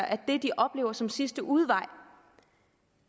at det de oplever som sidste udvej